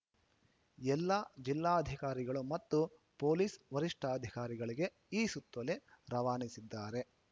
ಎಲ್ಲ ಜಿಲ್ಲಾಧಿಕಾರಿಗಳು ಮತ್ತು ಪೊಲೀಸ್‌ ವರಿಷ್ಠಾಧಿಕಾರಿಗಳಿಗೆ ಈ ಸುತ್ತೋಲೆ ರವಾನಿಸಿದ್ದಾರೆ